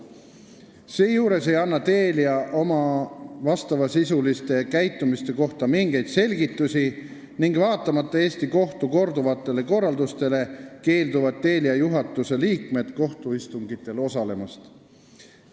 Seejuures ei ole Telia oma käitumise kohta mingeid selgitusi andnud ning vaatamata Eesti kohtu korduvatele korraldustele, on Telia juhatuse liikmed kohtuistungitel osalemast keeldunud.